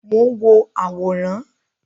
Mo n wo àwòrán.